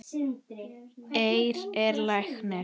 Eir er læknir